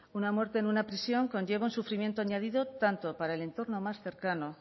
una muerte en una prisión conlleva un sufrimiento añadido tanto para el entorno más cercano